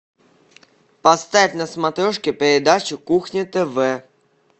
поставь на смотрешке передачу кухня тв